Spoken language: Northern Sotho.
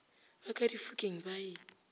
ba ka difokeng ba e